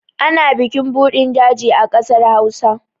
Ana bikin budin daji a ƙasar Hausa.